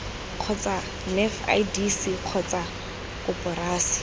kgotsa nef idc kgotsa koporasi